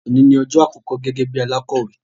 Oni ni ọjọ́ àkọkọ gẹ́gẹ́ bí alakọ̀wé.